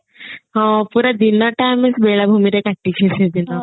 ହଁ ପୁରା ଦିନଟା ଆମେ ବେଳାଭୂମିରେ କାଟି